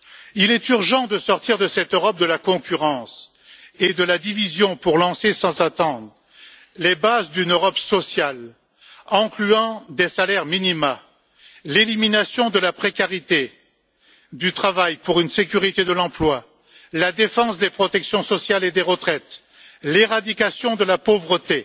Il est urgent de sortir de cette Europe de la concurrence et de la division pour lancer sans attendre les bases d'une Europe sociale, comportant des salaires minima, l'élimination de la précarité du travail pour une sécurité de l'emploi, la défense des protections sociale et des retraites, l'éradication de la pauvreté